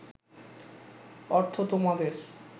অর্থ তোমাদের